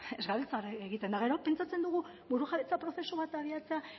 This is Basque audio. ez gabiltza hori egiten eta gero pentsatzen dugu burujabetza prozesu bat abiatzea